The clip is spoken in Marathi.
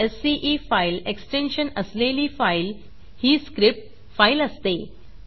sce फाईल एक्सटेन्शन असलेली फाईल ही स्क्रिप्ट फाईल असते